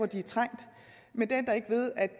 de er trængt men det ændrer ikke ved at